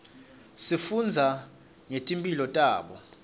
sifundza nangeti mphilo tabo